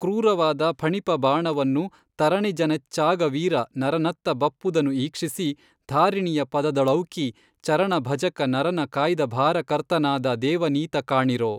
ಕ್ರೂರವಾದ ಫಣಿಪಬಾಣವನ್ನು ತರಣಿಜನೆಚ್ಚಾಗವೀರ ನರನತ್ತ ಬಪ್ಪುದನ್ನು ಈಕ್ಷಿಸಿ ಧಾರಿಣಿಯ ಪದದೊಳೌಕಿ ಚರಣಭಜಕ ನರನ ಕಾಯ್ದಭಾರಕರ್ತನಾದ ದೇವನೀತ ಕಾಣಿರೊ